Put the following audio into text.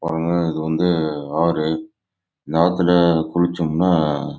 இது வந்து ஆறு இங்க குளிச்சோம் ந